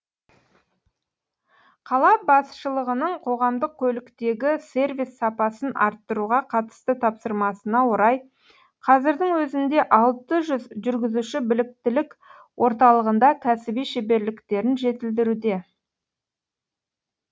қала басшылығының қоғамдық көліктегі сервис сапасын арттыруға қатысты тапсырмасына орай қазірдің өзінде алты жүз жүргізуші біліктілік орталығында кәсіби шеберліктерін жетілдіруде